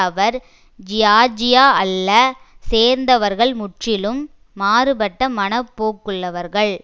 அவர் Georgia அல்ல சேர்ந்தவர்கள் முற்றிலும் மாறுபட்ட மனப்போக்குள்ளவர்கள்